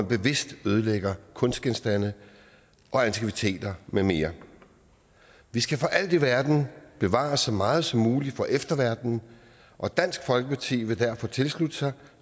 bevidst ødelægger kunstgenstande og antikviteter med mere vi skal for alt i verden bevare så meget som muligt for efterverdenen og dansk folkeparti vil derfor tilslutte sig